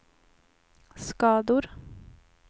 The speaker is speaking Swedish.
skador